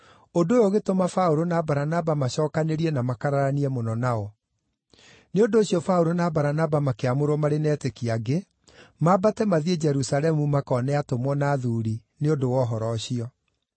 Ũndũ ũyũ ũgĩtũma Paũlũ na Baranaba macookanĩrie na makararanie mũno nao. Nĩ ũndũ ũcio Paũlũ na Baranaba makĩamũrwo, marĩ na etĩkia angĩ, maambate mathiĩ Jerusalemu makone atũmwo na athuuri nĩ ũndũ wa ũhoro ũcio.